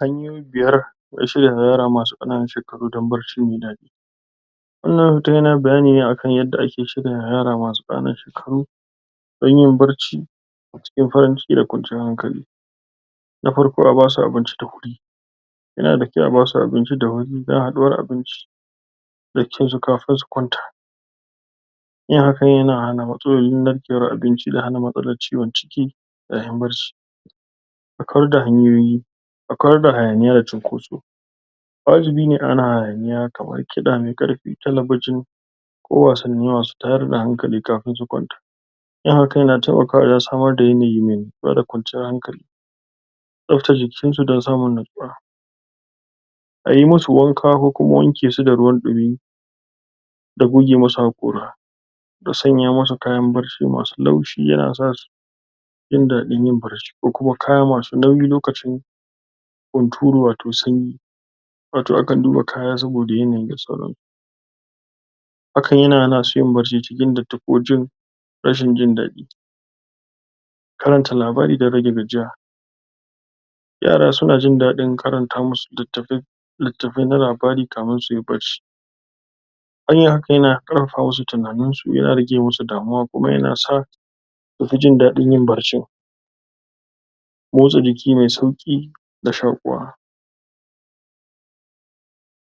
Hanyoyi biyar na shiryawa yara masu ƙananun shekaru dan barci mai daɗi. Wannan hoton yana bayaani ne akan yadda ake shiryawa yara masu ƙananun shekaru dan yin barci a cikin farin ciki da ƙwanciyar hankali. Na farko a basu abinci da wuri, yana da ƙyau a basu abinci da wuri ɗan a ɗora abincin baccin su kafin su kwanta yin haka yana hana matsalar narkewar abinci da hana matsalar ciwon ciki yaayin barci. A kula da hanyoyi, a kula da hayaniya da cinkoso waajibi ne a hana hayaaniyaa kamar kiɗa mai karfi talabijin ko wasanni masu taayar da hankali kafin su kwanta yin haka yana taimakawa wajan samar da yanayi mai natsuwa da kwanciyar hankali. Tsaftata jikinsu dan samun natsuwa, ayi musu wanka ko kuma wanke su da ruwan ɗimi da goge masu hakora da sanya masu kayan barci masu laushi yana sasu jindaɗin yin barci kokuma kama su nauyi lokacin hunturu wato sanyi wato akan duba kaya saboda yanayi hakan yana hana su yin bacci cikin datti ko rashin jindaɗi. Karanta labari dan rage gajiya, yara suna jindaɗin karanta musu littafai na labari kamin suyi barci yin haka yana ƙarfafa masu tinanin su, yana rage musu damuwa kuma yana sa sufi jindaɗin yin barcin. Motsa jiki mai sauki da shaakuwa,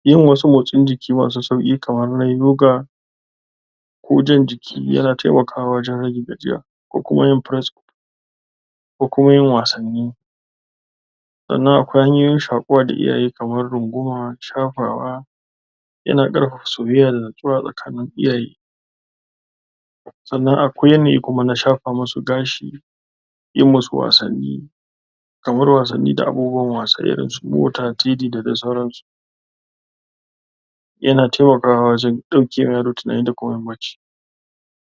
yin wasu mostsin jiki masu sauki kamar na yoga, ko jan jiki yana taimakawa wajan rage gajiya ko kuma yin press-up ko kuma yin wasanni. Sannan akwai hanyoyin shaakuwa da iyaye kamar runguma shafawa yana ƙarfafa soyayya da natsuwa tsakanin iyaye. Sannan akwai yanayi kuma na shafa musu gashi, yi musu wasanni, kamar wasanni da agogon wasa irin su mota, td da dai sauransu. yana taimakawa wajan ɗaukewa yaro tinani da kuma yin barci.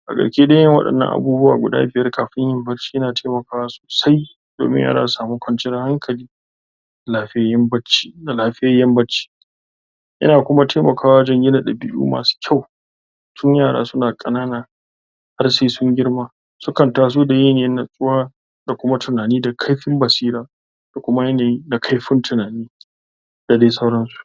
A taƙaice dai wadannan abubuwa guda biyar kafin mu barshi yana taimakawa sosai domin yara su samu kwanciyar hankali da lafiyayyan barci. Yana kuma taimakawa wajan gina ɗabi'u masu ƙyau tin yara suna ƙanana har se sun girma sukan taso da yanayi na natsuwa da kuma tunani da ƙaifin basira da kuma yanayi na ƙaifin tunani da dai sauransu.